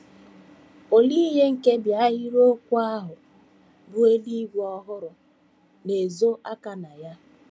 Olee ihe nkebi ahịrịokwu ahụ bụ́ “ eluigwe ọhụrụ ” na - ezo aka na ya?